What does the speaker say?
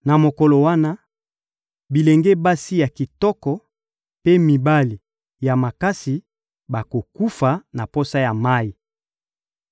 Na mokolo wana, bilenge basi ya kitoko mpe mibali ya makasi bakokufa na posa ya mayi.